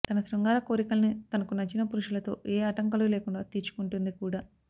తన శృంగార కోరికల్ని తనకు నచ్చిన పురుషులతో ఏ ఆటంకాలు లేకుండా తీర్చుకుంటుంది కూడా